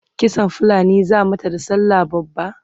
kitsan fulani zaa mata da sallah babba?